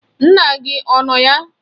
Nna gị ọ nọ ya?